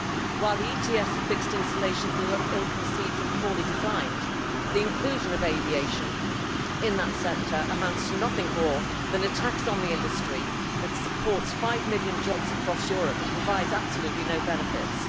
While the ETS of fixed installations was ill conceived and poorly designed, the inclusion of aviation in that sector amounts to nothing more than a tax on an industry that supports five million jobs across Europe, and it provides absolutely no benefits.